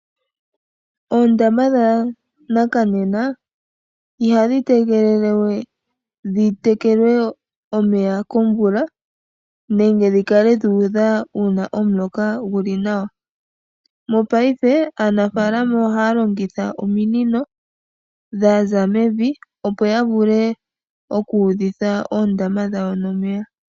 Oondama dhanakanena ihadhi tegelele we dhitekelwe omeya komvula nenge dhikale dhiidha uuna omuloka guli nawa, mopaife aanafaalama ohaya longitha ominino dhaza mevi opo yavule okuudhitha oondama dhawo nomeya.